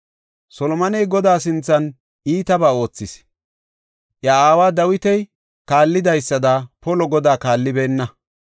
Solomoney Godaa sinthan iitabaa oothis; iya aawa Dawiti kaallidaysada Godaa polo kaallibeenna.